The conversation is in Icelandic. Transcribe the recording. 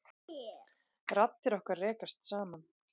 Raddir okkar rekast saman.